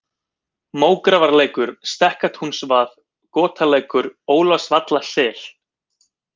Mógrafarlækur, Stekkatúnsvað, Gotalækur, Ólafsvallasel